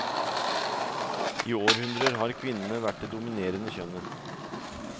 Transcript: I århundrer har kvinnene vært det dominerende kjønnet.